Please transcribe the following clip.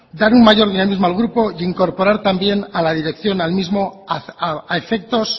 dar un mayor dinamismo al grupo e incorporar también a la dirección al mismo a efectos